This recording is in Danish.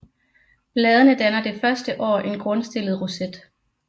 Bladene danner det første år en grundstillet roset